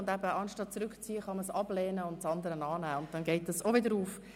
Und eben: Anstatt einen Antrag zurückzuziehen, kann man ihn ablehnen und einen anderen annehmen.